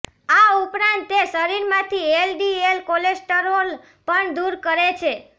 આ ઉપરાંત તે શરીરમાંથી એલડીએલ કોલેસ્ટરોલ પણ દૂર કરે છે